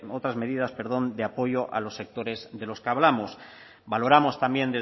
otras medidas perdón de apoyo a los sectores de los que hablamos valoramos también